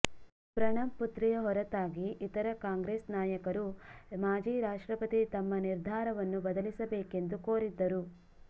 ಪ್ರಣಬ್ ಪುತ್ರಿಯ ಹೊರತಾಗಿ ಇತರ ಕಾಂಗ್ರೆಸ್ ನಾಯಕರೂ ಮಾಜಿ ರಾಷ್ಟ್ರಪತಿ ತಮ್ಮ ನಿರ್ಧಾರವನ್ನು ಬದಲಿಸಬೇಕೆಂದು ಕೋರಿದ್ದರು